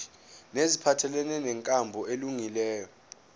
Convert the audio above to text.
neziphathelene nenkambo elungileyo